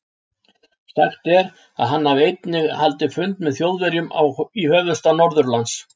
Sagt er, að hann hafi einnig haldið fund með Þjóðverjum í höfuðstað Norðurlands.